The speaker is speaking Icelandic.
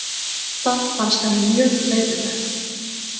Það fannst henni mjög leiðinlegt.